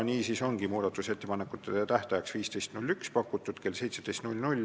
Niisiis ongi muudatusettepanekute esitamise tähtajaks pakutud 15. jaanuar kell 17.